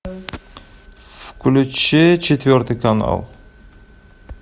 включи четвертый канал